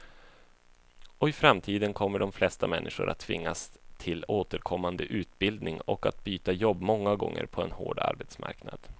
Och i framtiden kommer de flesta människor att tvingas till återkommande utbildning och att byta jobb många gånger på en hård arbetsmarknad.